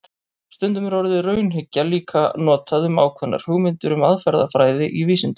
Stundum er orðið raunhyggja líka notað um ákveðnar hugmyndir um aðferðafræði í vísindum.